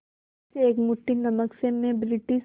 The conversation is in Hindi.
इस एक मुट्ठी नमक से मैं ब्रिटिश